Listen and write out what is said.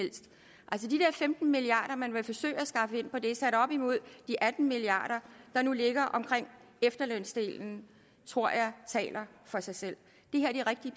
femten milliard kr man vil forsøge at skaffe ind på det sat op imod de atten milliard der nu ligger omkring efterlønsdelen tror jeg taler for sig selv